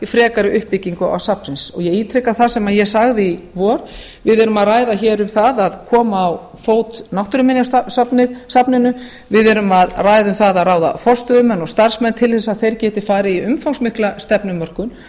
frekari uppbyggingu safnsins ég ítreka það sem ég sagði í vor við erum að ræða hér um það að koma á fót náttúruminjasafninu við erum að ræða um að ráða forstöðumenn og starfsmenn til þess að þeir geti farið í umfangsmikla stefnumörkun